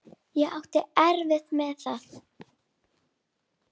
Ég átti erfitt með það.